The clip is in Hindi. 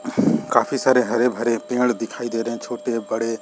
काफी सारे हरे भरे पेड़ दिखाई दे रहे हैं छोटे-बड़े --